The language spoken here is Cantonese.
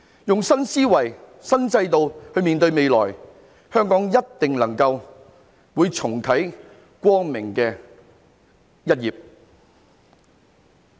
以新思維、新制度面對未來，香港一定能夠重啟光明的一頁。